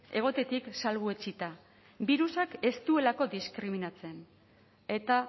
egotetik salbuetsita birusak ez duelako diskriminatzen eta